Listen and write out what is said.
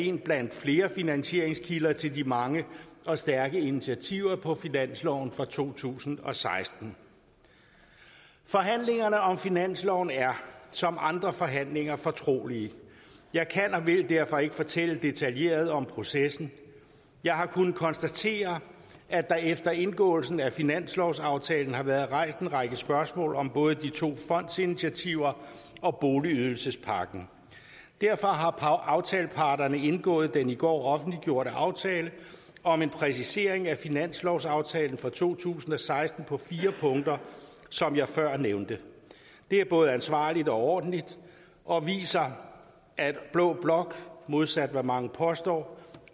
en blandt flere finansieringskilder til de mange og stærke initiativer på finansloven for to tusind og seksten forhandlingerne om finansloven er som andre forhandlinger fortrolige jeg kan og vil derfor ikke fortælle detaljeret om processen jeg har kunnet konstatere at der efter indgåelsen af finanslovsaftalen har været rejst en række spørgsmål om både de to fondsinitiativer og boligydelsespakken derfor har aftaleparterne indgået den i går offentliggjorte aftale om en præcisering af finanslovsaftalen for to tusind og seksten på fire punkter som jeg før nævnte det er både ansvarligt og ordentligt og viser at blå blok modsat hvad mange påstår